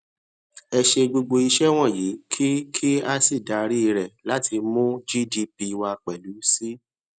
ẹ ṣe gbogbo iṣẹ wọnyii kí kí a sì darí rẹ láti mú gdp wa pelu síi